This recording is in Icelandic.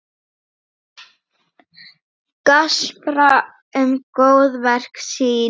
Gaspra um góðverk sín.